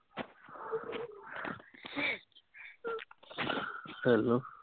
hello